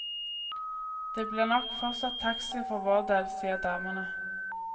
Det blir nok fortsatt taxi for vår del, sier damene.